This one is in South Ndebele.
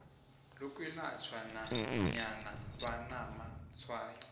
lokwelatjhwa nanyana banamatshwayo